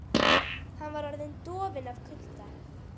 Hann var orðinn dofinn af kulda.